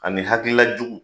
Ani hakilila jugu